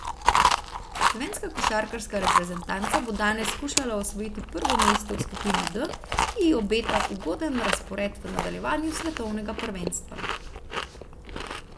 Slovenska košarkarska reprezentanca bo danes skušala osvojiti prvo mesto v skupini D, ki ji obeta ugoden razpored v nadaljevanju svetovnega prvenstva.